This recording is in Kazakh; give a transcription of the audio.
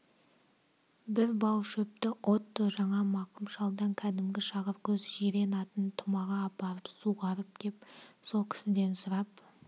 бір бау шөпті отто жаңа мақым шалдан кәдімгі шағыркөз жирен атын тұмаға апарып суғарып кеп со кісіден сұрап